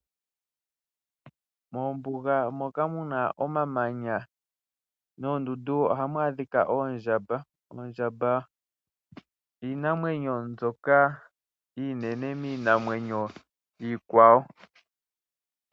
Moombuga moka muna omamanya noondundu ohamu adhika oondjamba. Oondjamba iinamwenyo mbyoka iinene miinamwenyo iikwawo.